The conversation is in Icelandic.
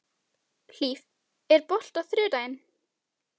Hlíf, er bolti á þriðjudaginn?